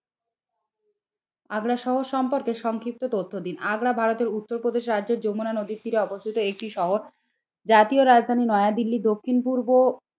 আগ্রা শহর সম্পর্কে সংক্ষিপ্ত তথ্য দিন। আগ্রা ভারতের উত্তর প্রদেশ রাজ্যের যমুনা নদীর তীরে অবস্থিত একটি শহর, জাতীয় রাজধানী দক্ষিণ পূর্ব